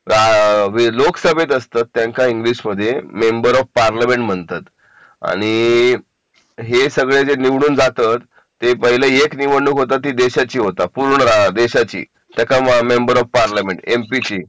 जे लोकसभेमध्ये असतात त्यांना इंग्लिश मध्ये मेंबर ऑफ पार्लमेंट म्हणतात आणि हे सगळे जे निवडून जातात ती पहिले एक निवडणूक होता ती देशाची होता पूर्ण देशाची टाका member of parliament M P ची